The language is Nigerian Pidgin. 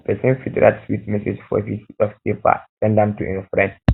persin fit write sweet um message for um piece of paper send am to im friend